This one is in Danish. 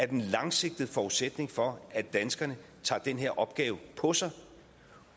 den langsigtede forudsætning for at danskerne tager den her opgave på sig